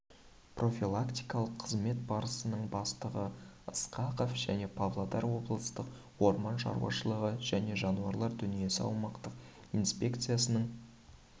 профилактикалық қызмет басқармасының бастығы ысқақов және павлодар облыстық орман шаруашылығы және жануарлар дүниесі аумақтық инспекциясының